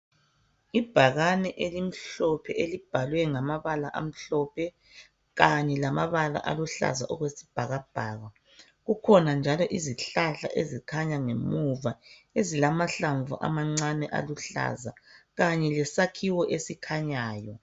Ibhakani elimhlophe elibhalwe ngamabala amhlophe kanye lamabala aluhlaza okwesibhakabhaka. Kukhona njalo izihlahla ezikhanya ngemuva ezilamahlamvu amancane aluhlaza kanye lesakhiwo esikhanyayo.